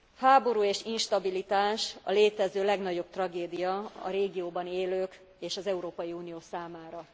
Háború és instabilitás a létező legnagyobb tragédia a régióban élők és az Európai Unió számára.